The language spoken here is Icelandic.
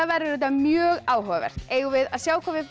verður þetta mjög áhugavert eigum við að sjá hvað við